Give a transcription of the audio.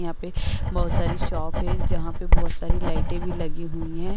यहां पे बहोत सारी शॉप हैं। जहां पे बहोत सारी लाइटें भी लगी हैं।